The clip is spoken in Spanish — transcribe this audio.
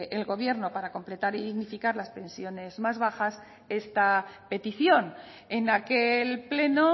el gobierno para completar y dignificar las pensiones más bajas esta petición en aquel pleno